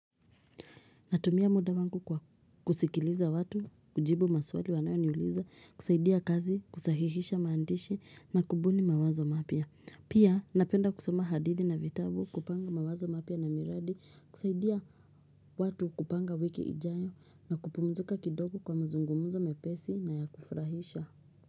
Natumia muda wangu kwa kusikiliza watu, kujibu maswali wanayoniuliza, kusaidia kazi, kusahihisha maandishi na kubuni mawazo mapya. Pia napenda kusoma hadithi na vitabu kupanga mawazo mapya na miradi, kusaidia watu kupanga wiki ijayo na kupumzika kidogo kwa mazungumzo mepesi na ya kufurahisha.